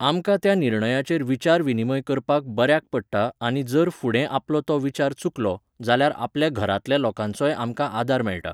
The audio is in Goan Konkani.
आमकां त्या निर्णयाचेर विचार विनीमय करपाक बऱ्याक पडटा आनी जर फुडें आपलो तो विचार चुकलो, जाल्यार आपल्या घरांतल्या लोकांचोय आमकां आदार मेळटा